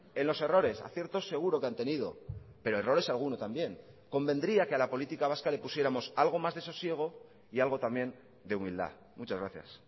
en los errores aciertos seguro que han tenido pero errores alguno también convendría que a la política vasca le pusiéramos algo más de sosiego y algo también de humildad muchas gracias